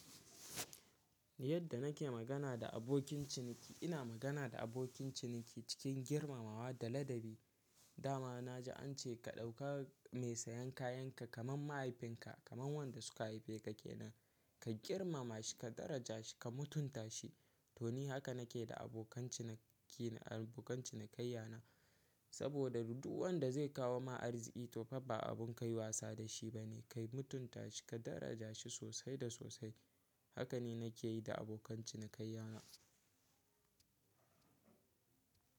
Yadda nake magana da abokin ciniki, ina magana da abokin ciniki cikin girmamawa da ladabi. Dama na ji ance ka ɗauka mai sayan kayanka kamar mahaifinka, kamar wanda suka haife ka kenan. Ka girmama shi, ka daraja shi, ka mutunta shi. To ni haka nake da abokan cinikina, abokan cinikayya na. Saboda me ɗuwan da zai kawo ma arziki to fa ba abun kayi wasa da shi bane. Kayi mutunta shi ka daraja shi sosai da sosai. Haka ne nake yi da abokan cinikayya na.